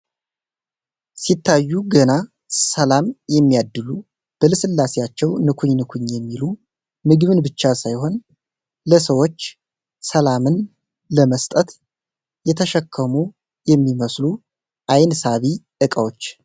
ሲታዩ ገና ሰላም የሚያድሉ ፤ በልስላሴያቸው ንኩኝ ንኩኝ የሚሉ ፤ ምግብን ብቻ ሳይሆን ለሰዎች ሰላምን ለመስጠት የተሸከሙ የሚመስሉ አይን ሳቢ ዕቃዎች።